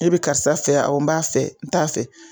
E be karisa fɛ wa? n b'a fɛ, n t'a fɛ